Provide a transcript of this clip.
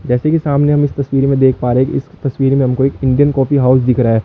जैसे कि सामने हम इस तस्वीर में देख पा रहे कि इस तस्वीर में हमको एक इंडियन कॉफी हाउस दिख रहा है।